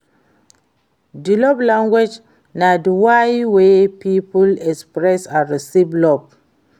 di love language na di way wey people express and receive love.